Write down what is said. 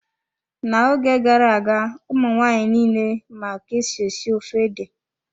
N'oge gara-aga, ụmụ nwaanyị nile ma ka-esi esi ofe ede.